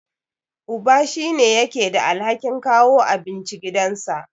Uba shine yake da alhakin kawo abinci gidansa.